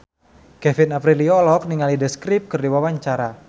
Kevin Aprilio olohok ningali The Script keur diwawancara